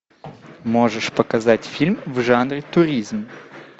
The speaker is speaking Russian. можешь показать фильм в жанре туризм